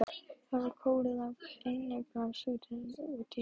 Þau eru króuð af í einbýlishúsi úti í úthverfi.